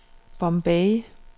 Bombay